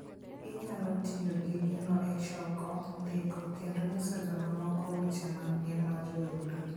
Inyalo tiyo gi gino e choko, ndiko, kendo nyiso jomoko weche mag ngima joodu.